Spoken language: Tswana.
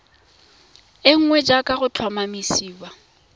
e nngwe jaaka go tlhomamisiwa